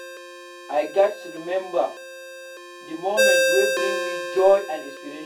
I gats remember the moments wey bring me joy and inspiration.